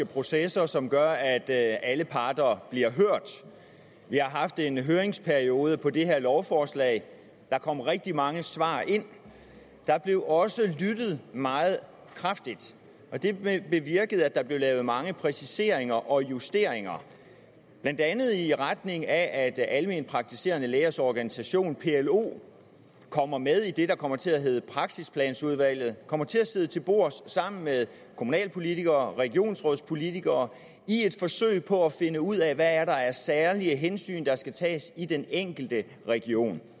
processer som gør at alle parter bliver hørt vi har haft en høringsperiode på det her lovforslag der kom rigtig mange svar ind og der blev også lyttet meget kraftigt det bevirkede at der blev lavet mange præciseringer og justeringer blandt andet i retning af at alment praktiserende lægers organisation plo kommer med i det der kommer til at hedde praksisplanudvalget kommer til at sidde til bords sammen med kommunalpolitikere og regionspolitikere i et forsøg på at finde ud af hvad der er af særlige hensyn der skal tages i den enkelte region